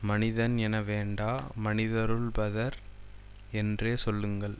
மனிதன் என வேண்டா மனிதருள்பதர் என்றே சொல்லுங்கள்